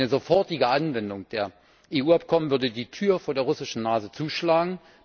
Eine sofortige Anwendung der EU Abkommen würde die Tür vor der russischen Nase zuschlagen.